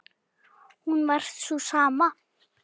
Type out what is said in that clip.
hún var sú sama.